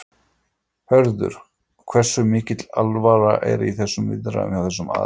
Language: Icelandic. Hörður, hversu mikil alvara er í þessum viðræðum hjá þessum aðilum?